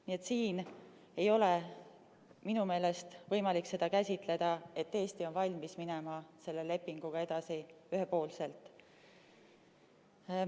Nii et siin ei ole minu meelest võimalik seda käsitleda nii, et Eesti on valmis minema selle lepinguga edasi ühepoolselt.